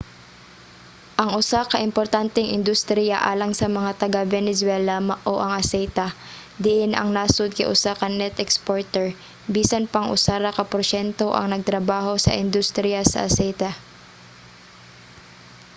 ang usa ka importanteng industriya alang sa mga taga-venezuela mao ang aseite diin ang nasod kay usa ka net exporter bisan pang usa ra ka porsyento ang nagtrabaho sa industriya sa aseite